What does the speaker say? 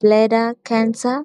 bladder cancer.